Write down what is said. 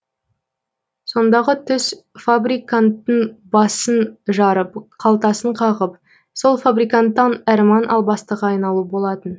сондағы түс фабриканттың басын жарып қалтасын қағып сол фабриканттан әрман албастыға айналу болатын